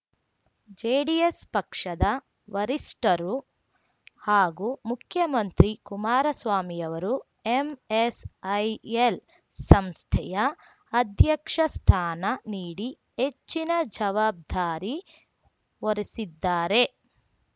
JDS ಪಕ್ಷದ ವರಿಷ್ಟರು ಹಾಗೂ ಮುಖ್ಯಮಂತ್ರಿ ಕುಮಾರಸ್ವಾಮಿಯವರು ಎಂಎಸ್‌ಐಎಲ್ ಸಂಸ್ಥೆಯ ಅಧ್ಯಕ್ಷ ಸ್ಥಾನ ನೀಡಿ ಹೆಚ್ಚಿನ ಜವಾಬ್ದಾರಿ ಹೊರಿಸಿದ್ದಾರೆ